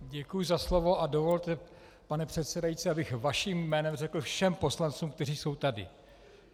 Děkuji za slovo a dovolte, pane předsedající, abych vaším jménem řekl všem poslancům, kteří jsou tady.